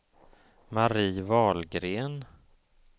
Mari Wahlgren